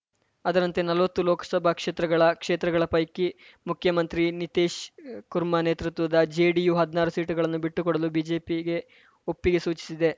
ಅದರಂತೆ ನಲ್ವತ್ತು ಲೋಕಸಭಾ ಕ್ಷೇತ್ರಗಳ ಕ್ಷೇತ್ರಗಳ ಪೈಕಿ ಮುಖ್ಯಮಂತ್ರಿ ನಿತೀಶ್‌ ಕುರ್ಮಾ ನೇತೃತ್ವದ ಜೆಡಿಯು ಹದ್ನಾರು ಸೀಟುಗಳನ್ನು ಬಿಟ್ಟುಕೊಡಲು ಬಿಜೆಪಿಗೆ ಒಪ್ಪಿಗೆ ಸೂಚಿಸಿದೆ